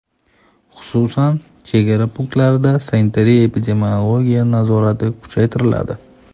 Xususan, chegara punktlarida sanitariya-epidemiologiya nazorati kuchaytiriladi.